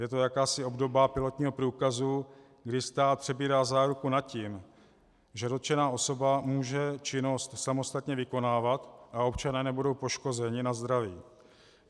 Je to jakási obdoba pilotního průkazu, kdy stát přebírá záruku nad tím, že dotčená osoba může činnost samostatně vykonávat a občané nebudou poškozeni na zdraví.